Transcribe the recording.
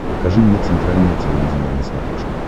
покажи мне центральное телевидение на смотрешке